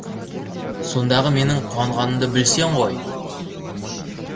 сондағы менің қуанғанымды білсең ғой